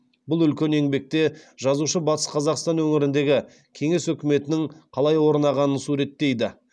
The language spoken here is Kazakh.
бұл үлкен еңбекте жазушы батыс қазақстан өңіріндегі кеңес өкіметінің қалай орнағанын суреттейді